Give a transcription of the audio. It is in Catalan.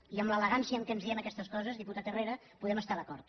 i amb l’elegància en què ens diem aquestes coses diputat herrera podem estar d’acord